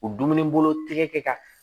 U dumuni bolo tɛ kɛ ka